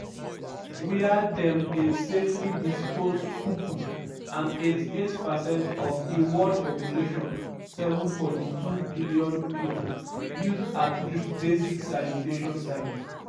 wia dem dey safely dispose poo-poo; and 88 percent of di world population (7.2 billion pipo) use at least basic sanitation service.